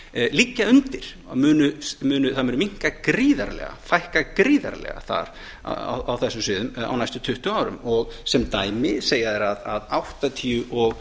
liggja undir að þau muni minnka gríðarlega þeim mun fækka gríðarlega þar á þessum sviðum á næstu tuttugu árum sem dæmi segja þeir að níutíu og